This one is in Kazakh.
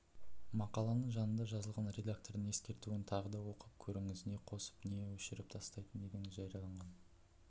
мақаланың жанында жазылған редактордың ескертуін тағы да оқып көріңіз не қосып нені өшіріп тастайтын едіңіз жарияланған